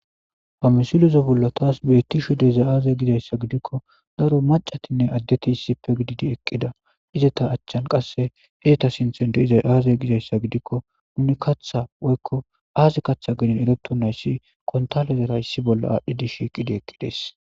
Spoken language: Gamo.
Ha misilozo bolla taas beetti shu deza aaze gizayssa gidikko daro macatinne addeti issipe gididi eqqida izata achchan qasse izeta sinthen deiza aaze gizayssa gidikko nuni katha woykko aazi katha gidin eroto nayssi kontalezerayssi bolla aadhdhi dish eqidi eqqides